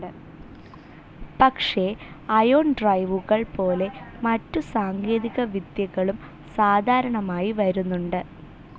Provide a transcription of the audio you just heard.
പക്ഷേ അയോൺ ഡ്രൈവുകൾ പോലെ മറ്റു സാങ്കേതികവിദ്യകളും സാധാരണമായി വരുന്നുണ്ട്.